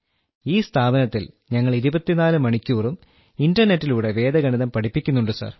ഈ സ്ഥാപനത്തിൽ ഞങ്ങൾ 24 മണിക്കൂറും ഇന്റർനെറ്റിലൂടെ വേദഗണിതം പഠിപ്പിക്കുന്നുണ്ട് സർ